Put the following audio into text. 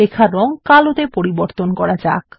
লেখার রং কালোতে পরিবর্তন করা যাক